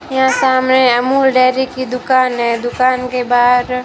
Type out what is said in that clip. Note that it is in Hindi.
यहां सामने अमूल डेयरी की दुकान है दुकान के बाहर--